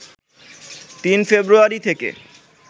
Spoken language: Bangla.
৩ ফেব্রুয়ারি থেকে